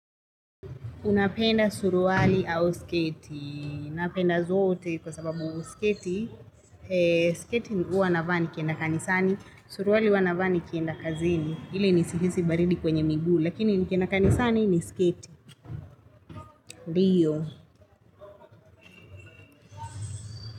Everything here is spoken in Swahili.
Unapenda suruwali au sketi. Napenda zote kwa sababu sketi. Sketi huwa navaa nikienda kanisani. Suruwali huwa navaa nikienda kazini. Ile nisihisi baridi kwenye miguu. Lakini nikienda kanisani ni sketi. Ndiyo.